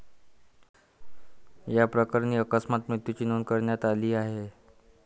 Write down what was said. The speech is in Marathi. याप्रकरणी अकस्मात मृत्यूची नोंद करण्यात आली आहे.